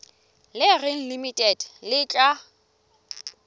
le reng limited le tla